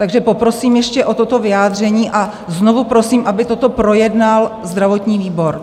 Takže poprosím ještě o toto vyjádření a znovu prosím, aby toto projednal zdravotní výbor.